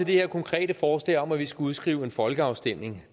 det her konkrete forslag om at vi skulle udskrive en folkeafstemning